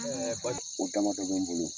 O damadɔ bɛ n bolo